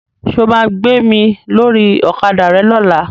Ṣo ma gbé mi lórí Ọ̀kadà rẹ lọ́la?